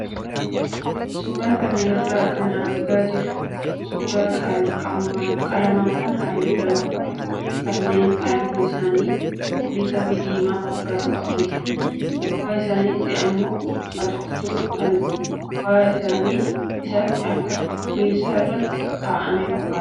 Suuraa kana irraa kan argaa jirru suuraa qalamaawwan halluu lama qaban kanneen halluun isaanii cuquliisaa fi diimaa fakkaatu qabanidha. Gubbaa isaaniitti immoo haxooftuu kan gubbaa isaatti akka qubeessaa irratti kaa'aman fakkaatu.